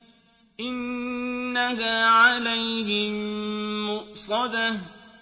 إِنَّهَا عَلَيْهِم مُّؤْصَدَةٌ